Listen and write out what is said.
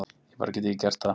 Ég bara get ekki gert það.